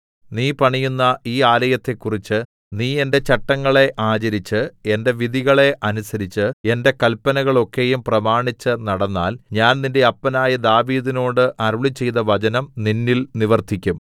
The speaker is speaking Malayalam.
നീ പണിയുന്ന ഈ ആലയത്തെക്കുറിച്ച് നീ എന്റെ ചട്ടങ്ങളെ ആചരിച്ച് എന്റെ വിധികളെ അനുസരിച്ച് എന്റെ കല്പനകളൊക്കെയും പ്രമാണിച്ച് നടന്നാൽ ഞാൻ നിന്റെ അപ്പനായ ദാവീദിനോട് അരുളിച്ചെയ്ത വചനം നിന്നിൽ നിവർത്തിക്കും